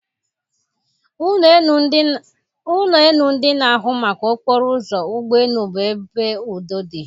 Ụlọ elu ndị na-ahụ maka okporo ụzọ ụgbọ elu bụ ebe udo dị.